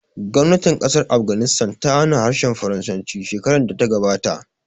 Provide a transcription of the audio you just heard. Gwamnatin ƙasar Afghanistan ta hana harshen Faransanci shekarar da ta gabata